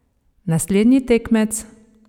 Naslednji tekmec?